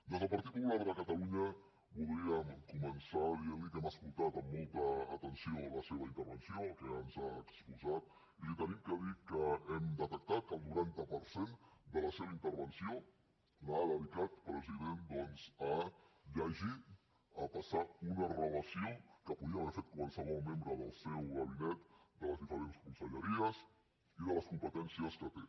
des del partit popular de catalunya voldríem començar dient li que hem escoltat amb molta atenció la seva intervenció el que ens ha exposat i li hem de dir que hem detectat que el noranta per cent de la seva intervenció l’ha dedicat president doncs a llegir a passar una relació que podria haver fet qualsevol membre del seu gabinet de les diferents conselleries i de les competències que té